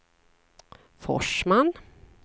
Forsman